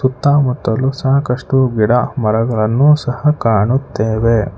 ಸುತ್ತಮುತ್ತಲು ಸಾಕಷ್ಟು ಗಿಡ ಮರಗಳನ್ನು ಸಹ ಕಾಣುತ್ತೇವೆ.